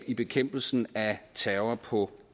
i bekæmpelsen af terror på